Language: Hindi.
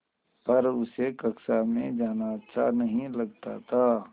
पर उसे कक्षा में जाना अच्छा नहीं लगता था